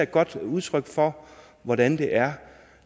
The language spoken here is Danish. godt udtryk for hvordan det er